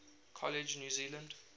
college new zealand